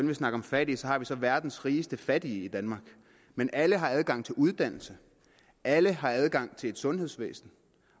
vil snakke om fattige har vi det verdens rigeste fattige men alle har adgang til uddannelse alle har adgang til et sundhedsvæsen